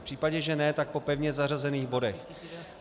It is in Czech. V případě, že ne, tak po pevně zařazených bodech.